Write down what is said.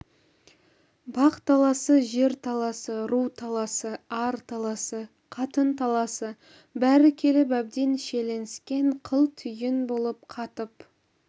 бақ таласы жер таласы ру таласы ар таласы қатын таласы бәрі келіп әбден шиеленіскен қыл түйін болып қатып